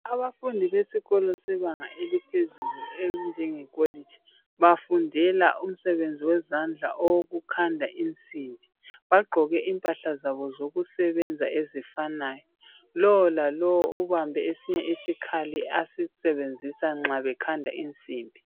Abafundi besikolo sebanga eliphezulu esinjenge kholiji bafundela umsebenzi wezandla owokukhanda insimbi bagqoke impahla zabo zokusebenza ezifanayo lowu lalowu ubambe isikhali asisebenzisayo nxa bekhanda insimbi.